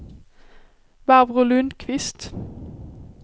Barbro Lundkvist